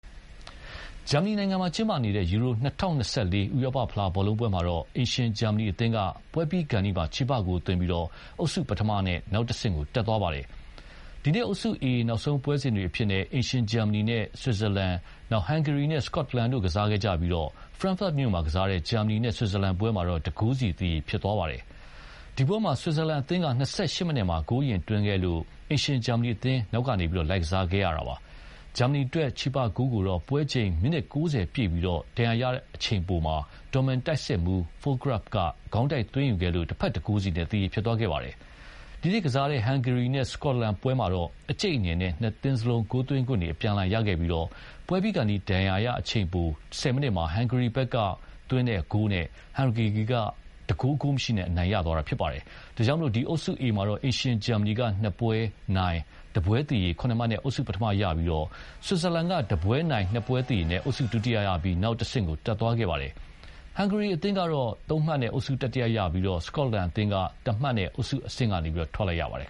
ဂျာမနီနိုင်ငံမှာကျင်းပနေတဲ့ ယူရို-၂၀၂၄ ဥရောပဖလားဘောလုံးပွဲမှာတော့ အိမ်ရှင်ဂျာမနီအသင်းက ပွဲပြီးခါနီးမှ ချေပဂိုးသွင်းပြီး အုပ်စုပထမနဲ့ နောက်တဆင့်တက်သွားပါတယ်။ ဒီနေ့ အုပ်စု A နောက်ဆုံးပွဲစဉ်တွေအဖြစ်နဲ့ အိမ်ရှင်ဂျာမနီနဲ့ ဆွစ်ဇာလန်၊ ဟန်ဂေရီနဲ့ စကော့တလန်တို့ကစားခဲ့ကြပြီး ဖရန့်ဖတ်မြို့မှာကစားတဲ့ ဂျာမနီ နဲ့ ဆွစ်ဇာလန်ပွဲမှာတော့ ၁ ဂိုးစီ သရေဖြစ်သွားပါတယ်။ ဒီပွဲမှာ ဆွစ်ဇာလန်အသင်းက ၂၈ မိနစ်မှာ ဂိုးအရင်သွင်းခဲ့လို့ အိမ်ရှင်ဂျာမနီအသင်း နောက်ကနေ လိုက်ကစားခဲ့ရပါတယ်။ ဂျာမနီအတွက် ချေပဂိုးကိုတော့ ပွဲချိန် မိနစ် ၉၀ ပြည့်ပြီး ဒဏ်ရာရအချိန်ပိုမှာ ဒေါ့မန်တိုက်စစ်မှူး Fullkrug က ခေါင်းတိုက်သွင်းခဲ့လို့ တဘက် ၁ ဂိုးစီနဲ့ သရေဖြစ်သွားခဲ့ပါတယ်။ စတုဂတ်မြို့မှာကစားတဲ့ဟန်ဂေရီနဲ့ စကော့တလန်ပွဲမှာတော့ အကြိတ်အနယ်နဲ့ ၂ သင်းစလုံး ဂိုးသွင်းခွင့်တွေအပြန်အလှန်ရခဲ့ပြီး ပွဲပြီးခါနီး ဒဏ်ရာရအချိန်ပို ၁၀ မိနစ်မှာ ဟန်ဂေရီဘက်က Csoboth သွင်းတဲ့ဂိုးနဲ့ ဟန်ဂေရီက ၁ ဂိုး ဂိုးမရှိနဲ့ နိုင်သွားခဲ့ပါတယ်။ ဒါကြောင့် ဒီ အုပ်စု A မှာတော့ အိမ်ရှင်ဂျာမနီက ၂ ပွဲနိုင်၊ ၁ ပွဲသရေ ၇ မှတ်နဲ့ အုပ်စု ပထမရပြီး ဆွစ်ဇာလန်က ၁ ပွဲနိုင်၊ ၂ ပွဲသရေနဲ့ အုပ်စုဒုတိယရပြီး နောက်တဆင့်ကိုတက်သွားခဲ့ပါတယ်။ ဟန်ဂေရီအသင်းကတော့ ၃ မှတ်နဲ့ အုပ်စု တတိယရပြီး စကော့တလန်အသင်းကတော့ ၁ မှတ်နဲ့အုပ်စုအဆင့်ကနေ ထွက်လိုက်ရပါတယ်